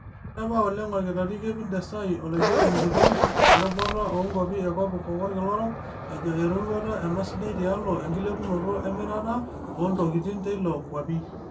Eterepa oleng Olkitari Kevit Desai, Olaigeroni Kitok, lerubata oonkuapi ekopikop olkila orok, ejoo eroruata ena sidai tialo enkilepunoto emirata oontukitin teilo nkuapi.